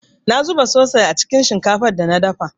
Na zuba soi-sos cikin shinkafar da na dafa.